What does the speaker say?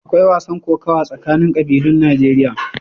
Akwai wasan kokawa tsakanin ƙabilun Najeriya.